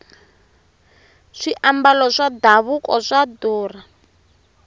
swiambalo swa davuko swa durha